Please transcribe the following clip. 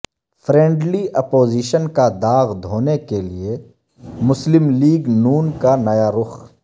friendly opposition کا داغ دھونے کے لئے مسلم لیگ ن کا نیا رخ